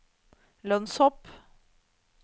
lønnshopp